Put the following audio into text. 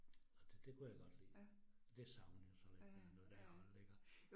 Og det det kunne jeg godt lide. Det savner jeg så lidt, der noget at holde iggå